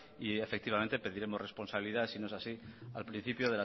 y efectivamente pediremos responsabilidades si no es así al principio